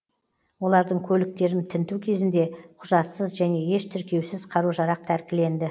олардың көліктерін тінту кезінде құжатсыз және еш тіркеусіз қару жарақ тәркіленді